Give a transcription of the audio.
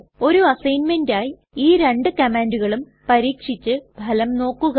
ഒരു അസ്സൈഗ്ന്മെന്റ് ആയി ഈ രണ്ടു കമ്മാൻണ്ടുകളും പരീക്ഷിച്ചു ഫലം നോക്കുക